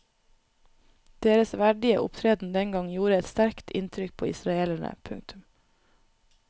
Deres verdige opptreden den gang gjorde et sterkt inntrykk på israelerne. punktum